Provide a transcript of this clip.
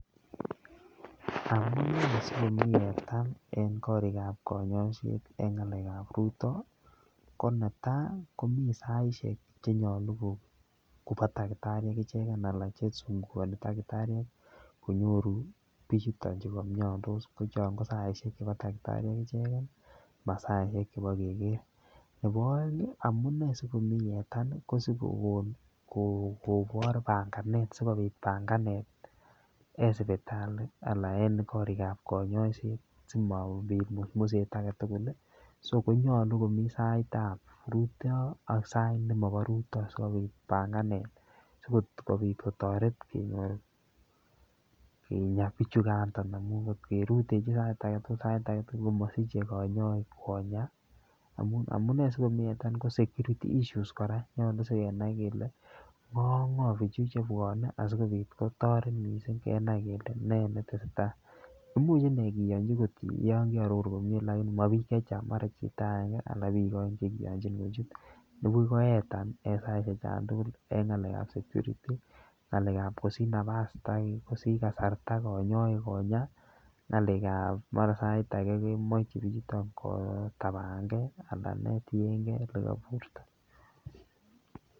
Amunee sikomii yetan en korikab konyoiset en ngalekab rutoo ko netai komiii saishek chenyolu Kobo takitariek icheken alan chesungukoni takitariek konyotu6 bichuton chuu komiondo ko chon kasishek chebo takitariek icheken masaishek chebo Keker. Nebo oengi amunee sikomii yetan nii ko sikokon kobor pangenet sikopit panganet en sipitali anan en korikab konyoiset simapit musmjaet agetukul lii konyolu komii saitab rutoo ak sait nemobo rutoo sikopit panganet sikopit ketoret kenyor kinya bichukandon bichukandon amun kot kerutechi sait agetukul sai8 agetukul komosiche konyoik Konya. Amunee sikomii yetan Koraa ko security issues Koraa nyolu sikenai kele ngo ak ngo bichu chebwone asikopit kotoret missing kenai kele nee netesetai, imuch inee kiyonchi kot yon keororu komie Lakini mo bik chechang mara ko chito agenge anan ko bik oeng chekiyonchin kochut nibuchi koyetan en saishek chon tukul en ngalekab security ngalekab kosich nafas kosich kasarta konyoik Konya ngalekab mara sait age kemoche bichuton kitabangee anan nee tiyengee olekoburto.